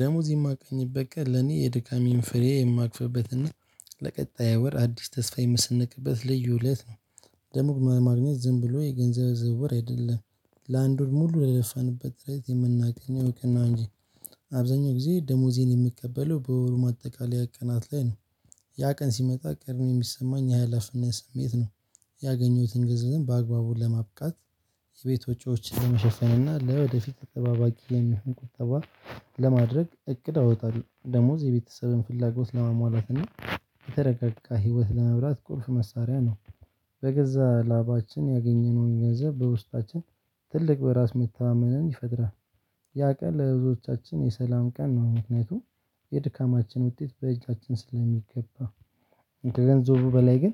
ደሞዝ የማገኝበት ቀን ለኔ የድካሜን ፍሬ የማቅፍበትና ለቀጣይ ወር አዲስ ተስፋ የመሰንቅበት ልዩ እለት ነው። ደሞዝ ማግኘት ዝም ብሎ የገንዘብ ዝውውር አይደለም። ለአንድ ወር ሙሉ የለፋንበት ጥረት የምናገኘው እውቀት ነው እንጂ። አብዛኛው ጊዜ ደሞዜን የምቀበለው በወሩ ማጠቃለያ ቀናት ላይ ነው። ያ ቀን ሲመጣ ቀድሜ ነው የሚሰማኝ ሀላፊነት ስሜት ነው። ያገኘሁትን ግንዘብ በአግባቡን ለማብቃት የቤት ወጪዎችን ለመሸፈን እና ለወደፊት ተጠባባቂ የሚሆን ቁጠባ። ለማድረግ እቅድ አወጣለሁ። ደሞዝ የቤተሰብን ፍላጎት ለማሟላትና ከተረጋጋ ህይወት ለመብላት ቁልፍ መሳሪያ ነው። በገዛ ላባችን ያገኘነውን ገንዘብ በውስጣችን ትልቅ በራስ መተማመንን ይፈጥራል። ያ ቀን ለህዝቦቻችን የሰላም ቀን ነው ምክንያቱም የድካማችን ውጤት በእጃችን ስለሚገባ። ከገንዘቡ በላይ ግን